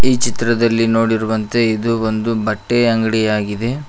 ಈ ಚಿತ್ರದಲ್ಲಿ ನೋಡಿರುವಂತೆ ಇದು ಒಂದು ಬಟ್ಟೆ ಅಂಗಡಿ ಆಗಿದೆ.